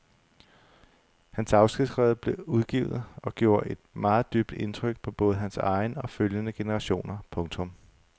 Hans afskedsbreve blev udgivet og gjorde et meget dybt indtryk på både hans egen og følgende generationer. punktum